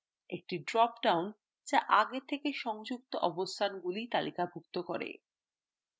একটি drop downযা আগে থেকে সংযুক্ত অবস্থানগুলি তালিকাভুক্ত করে